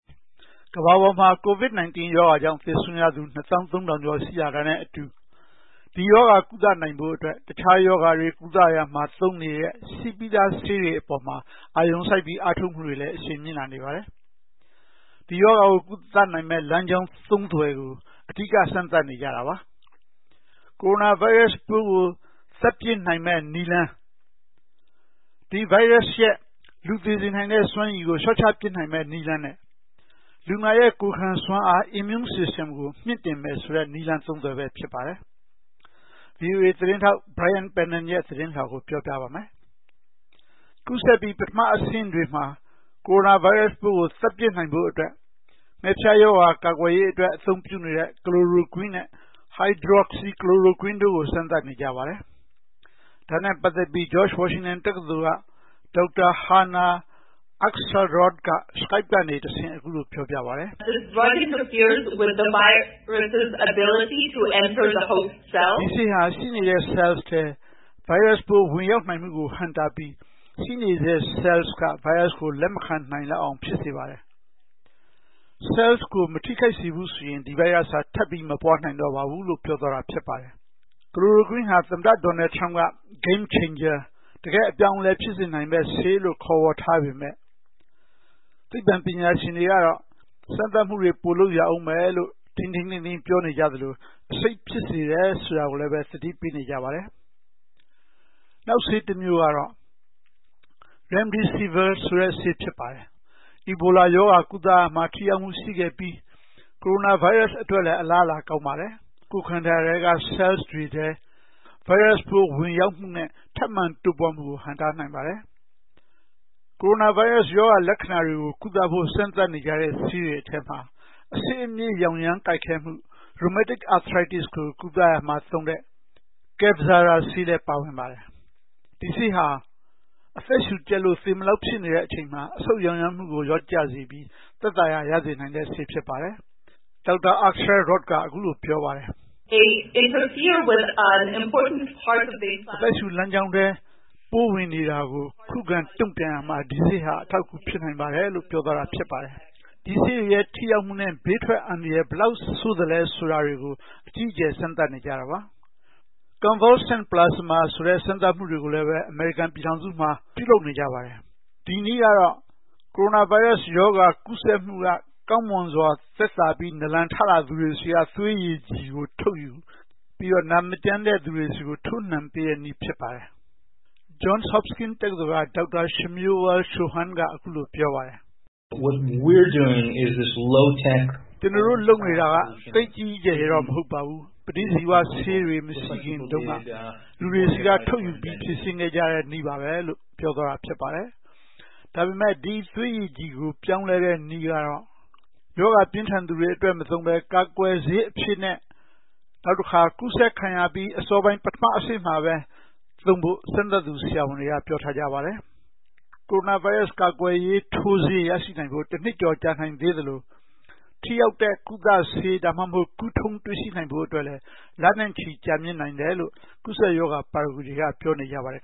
ကမ္ဘာပေါ်မှာ COVID-19 ရောဂါကြောင့် သေဆုံးရသူ ၂၃၀၀၀ ကျော် ရှိလာတာနဲ့အတူ ဒီရောဂါ ကုသနိုင်ဖို့အတွက် တခြားရောဂါတွေ ကုသရာမှာ သုံးနေတဲ့ ရှိပြီးသားဆေးတွေ အပေါ်မှာ အာရုံစိုက်ပြီး အားထုတ်မှုတွေလည်း အရှိန်မြင့်လာနေပါတယ်။ ဒီရောဂါကို ကုသနိုင်မယ့် လမ်းကြောင်းသုံးသွယ်ကို အဓိက စမ်းသပ်နေကြတာပါ။ ကိုရိုနာဗိုင်းရပ်စ်ပိုးကို သတ်ပစ်နိုင်မယ့်နည်းလမ်း၊ ဒီဗိုင်းရပ်စ်ရဲ့ လူသေစေနိုင်တဲ့ စွမ်းရည်ကို လျှော့ချပစ်နိုင်မယ့် နည်းလမ်းနဲ့ လူနာရဲ့ ကိုယ်ခံစွမ်းအား Immune System ကို မြှင့်တင်မယ်ဆိုတဲ့ နည်းလမ်းသုံးသွယ်ပဲ ဖြစ်ပါတယ်။ ဗွီအိုအေသတင်းထောက် Brian Padden ရဲ့ သတင်းလွှာကို ဦးကျော်ဇံသာ တင်ဆက်ပေးထားပါတယ်။ ကူးစက်ပြီး ပထမအဆင့်တွေမှာ ကိုရိုနာဗိုင်းရပ်စ်ပိုးကို သတ်ပစ်နိုင်ဖို့အတွက် ငှက်ဖျားရောဂါ ကာကွယ်ရေးအတွက် အသုံးပြုနေတဲ့ Chloroquine နဲ့ Hydroxychloroquine တို့ကို စမ်းသပ်နေကြပါတယ်။ ဒါနဲ့ပတ်သက်ပြီး George Washington တက္ကသိုလ်က ဒေါက်တာ Hana Akselrod က Skype ကနေတဆင့် အခုလိုပြောပြပါတယ်။ “ဒီဆေးဟာ ရှိနေတဲ့ဆဲလ်ထဲ ဗိုင်းရပ်စ်ပိုး ဝင်ရောက်နိုင်မှုကို ဟန့်တားပြီး ရှိနေတဲ့ ဆဲလ်က ဗိုင်းရပ်စ်ကို လက်မခံနိုင်လောက်အောင် ဖြစ်စေပါတယ်။ ဆဲလ်ကို မထိခိုက်စေဘူးဆိုရင် ဒီဗိုင်းရပ်စ်ဟာ ထပ်ပြီး မပွားနိုင်တော့ပါဘူး။” Chloroquine ဟာ သမ္မတ Donald Trump က Game Changer တကယ့် အပြောင်းအလဲ ဖြစ်စေနိုင်မယ့်ဆေးလို့ ခေါ်ဝေါ်ထားပေမယ့် သိပ္ပံပညာရှင်တွေကတော့ စမ်းသပ်မှုတွေ ပိုလုပ်ရဦးမယ်လို့ ထိန်းထိန်းသိမ်းသိမ်း ပြောနေကြသလို အဆိပ်ဖြစ်စေတယ် ဆိုတာကိုလည်း သတိပေးနေကြပါတယ်။ နောက်ဆေးတမျိုးကတော့ Remdesivir ဆေး ဖြစ်ပါတယ်။ အီဘိုလာရောဂါ ကုသရာမှာ ထိရောက်မှုရှိခဲ့ပြီး ကိုရိုနာဗိုင်းရပ်စ်အတွက်လည်း အလားအလာ ကောင်းပါတယ်။ ကိုယ်ခန္ဓာထဲက ဆဲလ်တွေထဲ ဗိုင်းရပ်စ်ပိုး ဝင်ရောက်မှုနဲ့ ထပ်မံတိုးပွားမှုကို ဟန့်တားနိုင်ပါတယ်။ ကိုရိုနာဗိုင်းရပ်စ် ရောဂါလက္ခဏာတွေကို ကုသဖို့ စမ်းသပ်နေကြတဲ့ ဆေးတွေထဲမှာ အဆစ်အမြစ် ရောင်ရမ်းကိုက်ခဲမှု Rheumatoid Arthritis ကို ကုသရာမှာသုံးတဲ့ Kevzara ဆေးလည်း ပါဝင်ပါတယ်။ ဒီဆေးဟာ အသက်ရှူကျပ်လို့ သေမလောက်ဖြစ်နေတဲ့ အချိန်မှာ အဆုတ်ရောင်ရမ်းမှုကို လျော့ကျစေပြီး သက်သာရာ ရစေနိုင်တဲ့ဆေး ဖြစ်ပါတယ်။ ဒေါက်တာ Akselrod က အခုလိုပြောပါတယ်။ “အသက်ရှူလမ်းကြောင်းထဲ ပိုးဝင်နေတာကို ခုခံ တုံ့ပြန်ရာမှာ ဒီဆေးဟာ အထောက်အကူ ဖြစ်နိုင်ပါတယ်။” ဒီဆေးတွေရဲ့ ထိရောက်မှုနဲ့ ဘေးထွက်အန္တရာယ် ဘယ်လောက်ဆိုးသလဲ ဆိုတာတွေကို အကြီးအကျယ် စမ်းသပ်နေကြတာပါ။ Convalescent plasma ဆိုတဲ့ စမ်းသပ်မှုတွေကိုလည်း အမေရိကန်ပြည်ထောင်စုမှာ ပြုလုပ်နေကြပါတယ်။ ဒီနည်းကတော့ ကိုရိုနာဗိုင်းရပ်စ်ရောဂါ ကူးစက်မှုက ကောင်းမွန်စွာ သက်သာပြီး နာလန်ထလာသူတွေဆီက သွေးရည်ကြည်ကို ထုတ်ယူပြီးတော့ နာမကျန်းတဲ့ သူတွေဆီကို ထိုးနံှပေးတဲ့နည်း ဖြစ်ပါတယ်။ Johns Hopkins တက္ကသိုလ်က ဒေါက်တာ Shmuel Shoham က အခုလိုပြောပါတယ်။ “ကျနော်တို့ လုပ်နေတာက သိပ်ကြီးကြီးကျယ်ကျယ်တော့ မဟုတ်ပါဘူး။ ပဋိဇီဝဆေးတွေ မရှိခင်တုန်းက လူတွေဆီက ထုတ်ယူပြီး ဖြေရှင်းနေကြတဲ့ နည်းပါပဲ။” ဒါပေမယ့် ဒီသွေးရည်ကြည်ကို ပြောင်းလဲတဲ့နည်းကတော့ ရောဂါပြင်းထန်သူတွေအတွက် မသုံးဘဲ ကာကွယ်ဆေးအဖြစ်နဲ့၊ နောက်တခါ ကူးစက်ခံရပြီး အစောပိုင်း ပထမအဆင့်မှာပဲ သုံးဖို့ စမ်းသပ်သူ ဆရာဝန်တွေက ပြောထားကြပါတယ်။ ကိုရိုနာဗိုင်းရပ်စ် ကာကွယ်ရေး ထိုးဆေးရရှိနိုင်ဖို့ တနှစ်ကျော် ကြာနိုင်သေးသလို ထိရောက်တဲ့ ကုသဆေး ဒါမှမဟုတ် ကုထုံး တွေ့ရှိနိုင်ဖို့အတွက်လည်း လနဲ့ချီ ကြာမြင့်နိုင်တယ်လို့ ကူးစက်ရောဂါ ပါရဂူတွေက ပြောနေကြပါတယ်